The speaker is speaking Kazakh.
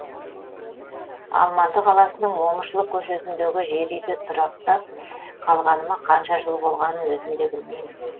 алматы қаласының момышұлы көшесіндегі жер үйде тұрақтап қалғаныма қанша жыл болғанын өзім де білмеймін